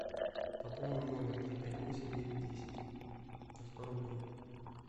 пополни номер три пять восемь девять десять на сто рублей